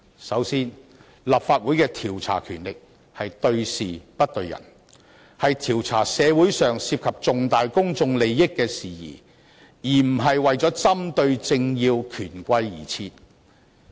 首先，立法會的調查權力應對事不對人，應調查社會上涉及重大公眾利益的事宜而不是針對政要權貴。